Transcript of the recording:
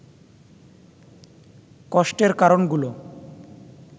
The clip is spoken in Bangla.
কষ্টের কারণগুলো